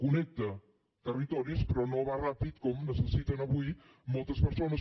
connecta territoris però no va ràpid com necessiten avui moltes persones